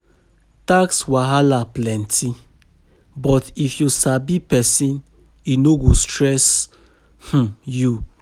Tax wahala plenty, but if you sabi pesin, e no go stress um you.